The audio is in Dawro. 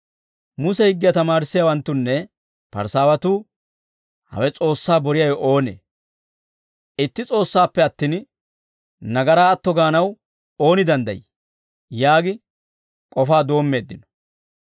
Muse higgiyaa tamaarissiyaawanttunne Parisaawatuu, «Hawe S'oossaa boriyaawe oonee? Itti S'oossaappe attin nagaraa atto gaanaw ooni danddayii?» yaagi k'ofaa doommeeddino.